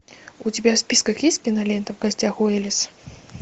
у тебя в списках есть кинолента в гостях у элис